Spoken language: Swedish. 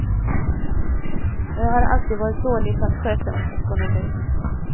Och jag har alltid varit dålig på att sköta min ekonomi.